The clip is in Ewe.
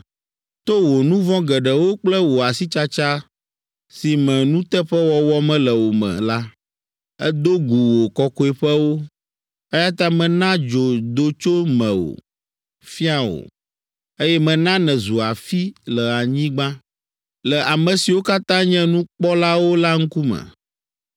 To wò nu vɔ̃ geɖewo kple wò asitsatsa si me nuteƒewɔwɔ mele o me la, èdo gu wò Kɔkɔeƒewo. Eya ta mena dzo do tso mewò, fia wò, eye mena nèzu afi le anyigba, le ame siwo katã nye nukpɔlawo la ŋkume.